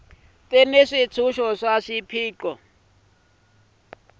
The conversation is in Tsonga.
ti ni swintshuxo swa swipaqo swa hina